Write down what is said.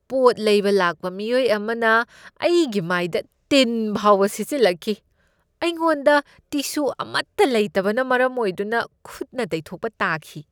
ꯄꯣꯠ ꯂꯩꯕ ꯂꯥꯛꯄ ꯃꯤꯑꯣꯏ ꯑꯃꯅ ꯑꯩꯒꯤ ꯃꯥꯏꯗ ꯇꯤꯟ ꯐꯥꯎꯕ ꯁꯤꯠꯆꯤꯜꯂꯛꯈꯤ꯫ ꯑꯩꯉꯣꯟꯗ ꯇꯤꯁꯨ ꯑꯃꯠꯇ ꯂꯩꯇꯕꯅ ꯃꯔꯝ ꯑꯣꯏꯗꯨꯅ ꯈꯨꯠꯅ ꯇꯩꯊꯣꯛꯄ ꯇꯥꯈꯤ꯫